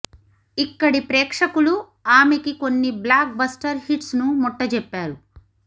ఇక్కడి ప్రేక్షకులు ఆమెకి కొన్ని బ్లాక్ బస్టర్ హిట్స్ ను ముట్టజెప్పారు